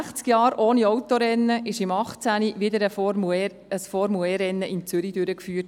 Nach sechzig Jahren ohne Autorennen wurde 2018 wieder ein Formel-E-Rennen in Zürich durchgeführt.